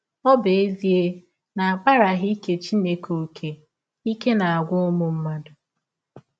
Ọ bụ ezie na a kpaaraghị ike Chineke ọ́kè, ike na - agwụ ụmụ mmadụ.